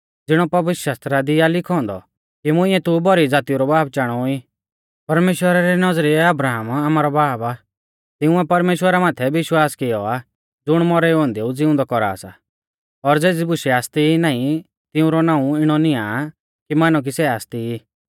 ज़िणौ पवित्रशास्त्रा दी आ लिखौ औन्दौ कि मुंइऐ तू भौरी ज़ातीऊ रौ बाब चाणौ ई परमेश्‍वरा री नौज़रिऐ अब्राहम आमारौ बाब आ तिंउऐ परमेश्‍वरा माथै विश्वास किऔ आ ज़ुण मौरै औन्देऊ ज़िउंदौ कौरा सा और ज़ेज़ी बुशै आसती ई नाईं तिऊंरौ नाऊं इणौ निआं आ कि मानौ कि सै आसती ई